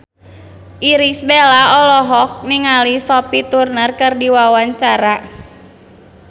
Irish Bella olohok ningali Sophie Turner keur diwawancara